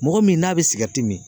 Mɔgɔ min n'a be sigɛriti min